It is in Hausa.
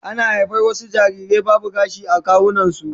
Ana haihuwar wasu jarirai babu gashi a kawunansu